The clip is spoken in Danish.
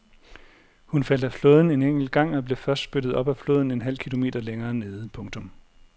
Hun faldt af flåden en enkelt gang og blev først spyttet op af floden en halv kilometer længere nede. punktum